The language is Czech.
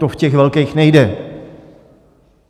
To v těch velkých nejde.